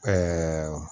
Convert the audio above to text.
Ɛɛ